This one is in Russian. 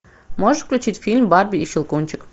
можешь включить фильм барби и щелкунчик